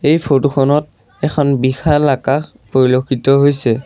এই ফৰটো খনত এখন বিশাল আকাশ পৰিলক্ষিত হৈছে।